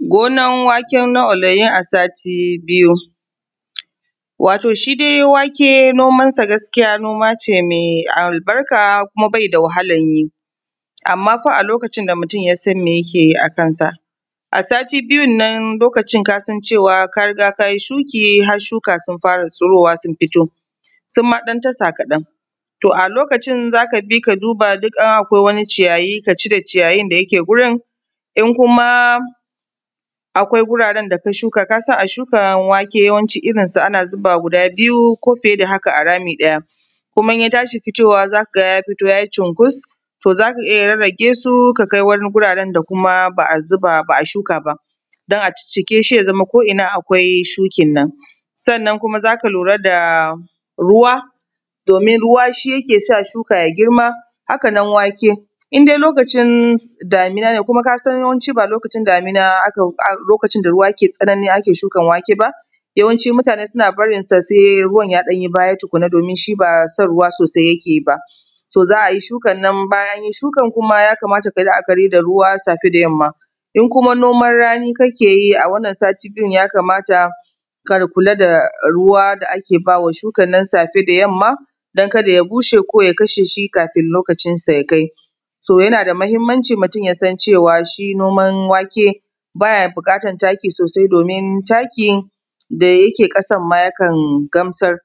gonan waken na olayin a sati biyu wato shi dai wake noman sa gaskiya noma ce mai albarka kuma bai da wahalan yi amman fa a lokacin da mutum ya san me yake yi a kan sa a sati biyun nan lokacin kasan cewa ka riga kayi shuki har shuka sun fara tsurowa sun fito suma ɗan tasa kaɗan to a lokacin zaka bi ka duba in akwai wani ciyayi ka cire ciyayin da yake gurin in kuma akwai guraren da ka shuka kasan a shukan wake yawancin irin su a zuba guda biyu ko fiye da haka a rami ɗaya kuma in ya tashi fitowa zaka ga ya fito ya yi cunkus to zaka iya rarragesu ka kai wani guraren da kuma ba a zuba ba ba a a shuka ba don a ciccike shi ya zama ko ina akwai shukin nan sannan kuma zaka lura da ruwa domin ruwa shi yake sa shuka ya girma haka nan wake indai lokacin damina ne kuma ka san yawanci ba lokacin damina lokacin da ruwa yake tsanani ake shukan wake ba yawancin mutane suna barin sa sai ruwan ya ɗan yi baya tukunna domin shi ba son ruwa sosai yake ba so za a yi shukan nan bayan anyi shukan nan kuma ya kamata kayi la’akari da ruwa safe da yamma in kuma noman rani kake yi a wannan sati biyun ya kamata ka kula da ruwa da ake bawa shukan nan safe da yamma don kada ya bushe ko ya kashe shi kafin lokacin sa ya kai so yana da muhimmanci mutum yayi noman wake baya buƙatan taki sosai domin takin da yake ƙasan ma ya kan gamsar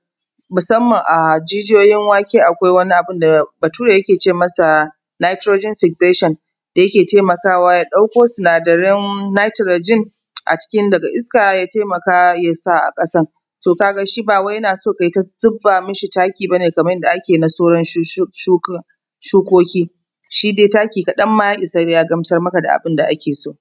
musamman a jijiyoyin wake akwai wani abunda bature yake ce masa Nitrogen fixation da yake taimakawa ya ɗauko sinadaran Nitrogen a cikin daga iska ya taimaka yasa a ƙasan to ka ga shi ba yana so kayi ta zuba mishi taki bane kaman yadda ake na sauran shuka shukoki shi dai taki kaɗan ma ya isa ya gamsar maka da abunda ake so